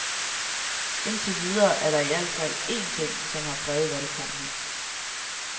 Indtil videre er der i al fald én ting, som har præget valgkampen.